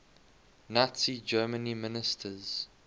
nazi germany ministers